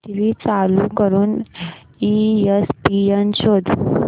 TV चालू करून ESPN शोध